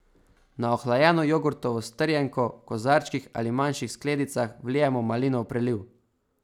Na ohlajeno jogurtovo strjenko v kozarčkih ali manjših skledicah vlijemo malinov preliv.